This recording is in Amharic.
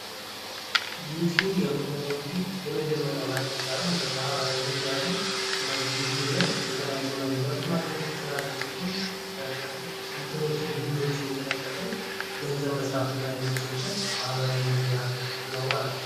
ዩትዩብ የምንለው እንግዲህ የመጀመሪያው ማለት ይቻላል የማህበራዊ ሚዲያ ነው። እነዚ ዩትዩብ ላይ የተለያዩ መረጃዎችን ማግኘት እንችላለን እንደዚሁም ቪዲዮዎችን እየለቀቅን ገንዘብ መሥራት የሚችልበት ማኅበራዊ ሚዲያ ነው ማለት ነው።